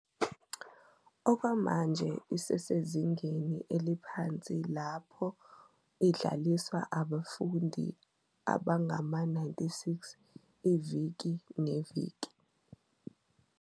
Okwamanje isesezingeni eliphansi lapho idliswa abafundi abangama-96 iviki neviki.